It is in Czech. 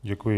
Děkuji.